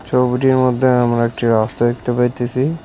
ছবিটির মধ্যে আমরা একটি রাস্তা দেখতে পাইতেসি।